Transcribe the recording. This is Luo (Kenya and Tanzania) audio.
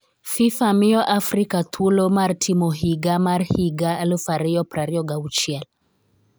FIFA miyo Afrika thuolo mar timo higa mar higa 2026